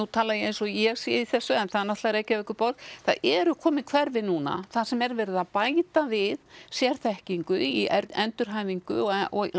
tala ég eins og ég sé í þessu en það er náttúrulega Reykjavíkurborg það eru komin hverfi núna þar sem er verið að bæta við sérþekkingu í endurhæfingu og